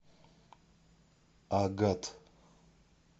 агат